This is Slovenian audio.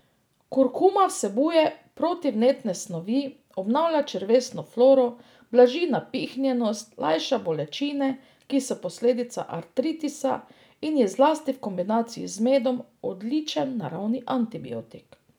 Kurkuma vsebuje protivnetne snovi, obnavlja črevesno floro, blaži napihnjenost, lajša bolečine, ki so posledica artritisa, in je zlasti v kombinaciji z medom odličen naravni antibiotik.